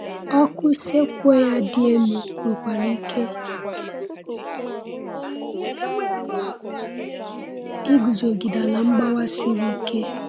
Ọkụ sequoia dị elu nwekwara ike iguzogide ala mgbawa siri ike.